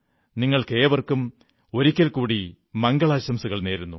നിങ്ങൾക്കേവർക്കും ഒരിക്കൽ കൂടി മംഗളാശംസകൾ നേരുന്നു